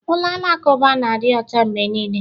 Ụlọ alakụba na-adị ọcha mgbe niile